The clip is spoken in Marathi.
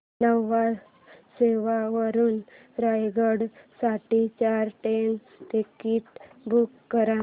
न्हावा शेवा वरून रायगड साठी चार ट्रेन टिकीट्स बुक कर